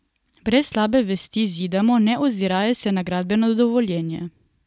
Brez slabe vesti zidamo, ne oziraje se na gradbeno dovoljenje.